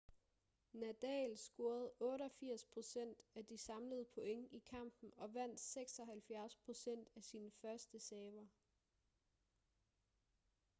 nadal scorede 88% af de samlede point i kampen og vandt 76% af sine førsteserver